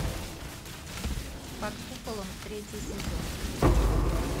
под куполом третий сезон